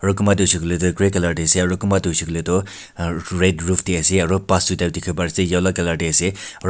kunba tho huishae kulae tho grey colour dae ase aro kunba tho huishae kulae tho red roof dae ase aro bus tuita tikibo bari ase yellow colour dae ase aro.